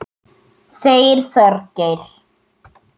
Þeir Þorgeir